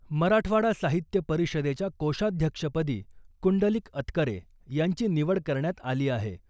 मराठवाडा साहित्य परिषदेच्या कोषाध्यक्षपदी कुंडलिक अतकरे यांची निवड करण्यात आली आहे .